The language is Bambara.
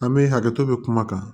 An bɛ hakɛto bi kuma kan